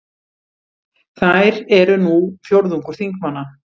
Þær eru nú fjórðungur þingmanna